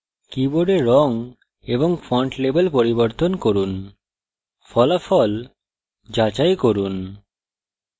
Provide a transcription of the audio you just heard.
keyboard রঙ এবং font level পরিবর্তন করুন ফলাফল যাচাই করুন